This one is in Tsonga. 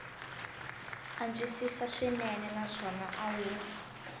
antswisiwa swinene naswona a wu